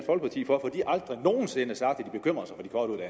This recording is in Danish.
for de har aldrig nogen sinde sagt